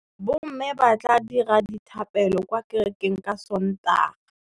Bommê ba tla dira dithapêlô kwa kerekeng ka Sontaga.